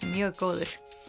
mjög góður